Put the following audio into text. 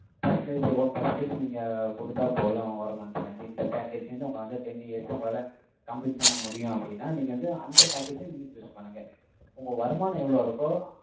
percentage one percentage, நீங்க குடுத்தா போதும், ஒரு month end, இந்த package வந்து, உங்கள வந்து, ten years, உங்களால, complete பண்ண முடியும், அப்படின்னா, நீங்க வந்து, அந்த package அ, நீங்க, choose பண்ணுங்க. உங்க வருமானம் எவ்வளவு இருக்கோ,